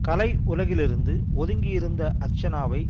கலையுலகிலிருந்து ஒதுங்கியிருந்த அர்ச்சனாவை